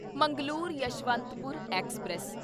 Mangalore Yesvantpur express